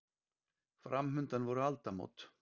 Framundan voru aldamót.